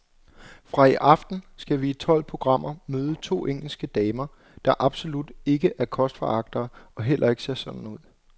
Fra i aften skal vi i tolv programmer møde to engelske damer, der absolut ikke er kostforagtere og heller ikke ser sådan ud.